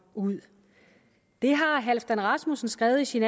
ud det har halfdan rasmussen skrevet i sin